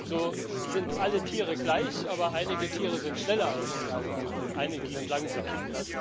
So sind alle Tiere gleich, aber einige Tiere sind schneller als die anderen, und einige sind langsamer.